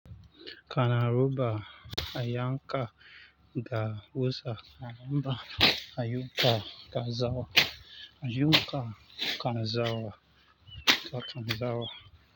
Kana ruba a yanka da wusa, a raba a yanka da zawa, a yanka kan zawa da kan zawa.